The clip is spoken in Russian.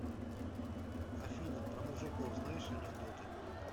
афина про мужиков знаешь анекдоты